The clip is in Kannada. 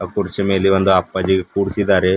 ಕುರ್ಚಿ ಮೇಲೆ ಒಂದು ಅಪ್ಪಾಜಿ ಕೂರ್ಸಿದ್ದಾರೆ.